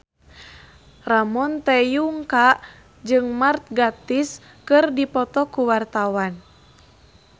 Ramon T. Yungka jeung Mark Gatiss keur dipoto ku wartawan